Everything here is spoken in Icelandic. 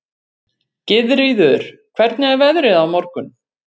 Gyðríður, hvernig er veðrið á morgun?